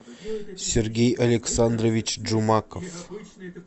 сергей александрович джумаков